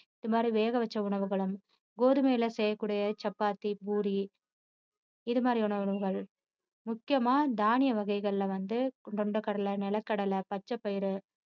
இது மாதிரி வேக வச்ச உணவுகளும் கோதுமையில செய்யக்கூடிய சப்பாத்தி, பூரி இது மாதிரியான உணவுகள் முக்கியமா தானிய வகைகள்ல வந்து கொண்டைக்கடலை நிலக்கடலை பச்சப்பயிறு